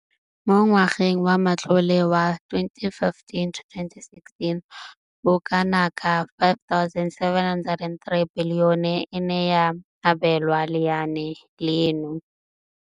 Mo ngwageng wa matlole wa 2015,16, bokanaka R5 703 bilione e ne ya abelwa lenaane leno.